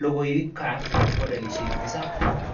lagukab modulishek tisab